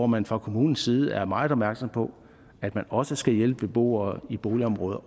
man fra kommunens side er meget opmærksom på at man også skal hjælpe beboere i boligområder